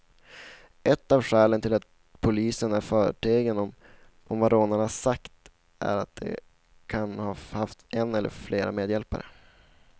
Ett av skälen till att polisen är förtegen om vad rånarna sagt är att de kan ha haft en eller flera medhjälpare.